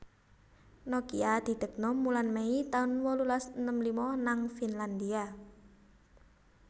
Nokia didekno wulan Mei tahun wolulas enem lima nang Finlandia